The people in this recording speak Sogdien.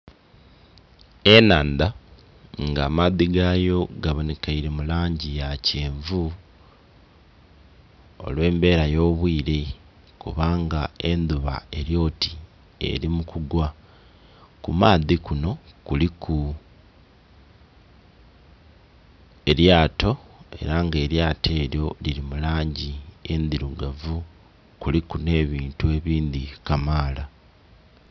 Enhandha nga amaadhi gayo gabonhekeire mu langi ya kyenvu olwe'mbera yo bwire kubanga endhuba elyoti eri mu kugwa. Ku maadhi kunho kuliku elyato era nga elyato elyo lili mu langi endhirugavu kuliku nhe buntu ebindhi kamaala.